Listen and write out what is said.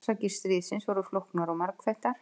Orsakir stríðsins voru flóknar og margþættar.